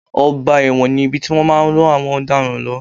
Ọgbà ẹ̀wọ̀n ni ibi tí wọ́n má a nrán àwọn ọ̀daràn lọ